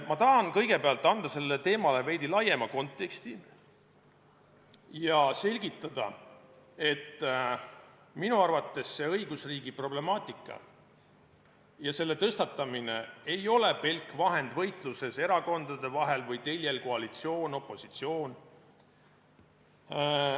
Ma tahan kõigepealt anda sellele teemale veidi laiema konteksti ja selgitada, et minu arvates ei ole õigusriigi problemaatika ja selle tõstatamine pelk vahend võitluses erakondade vahel või koalitsiooni-opositsiooni teljel.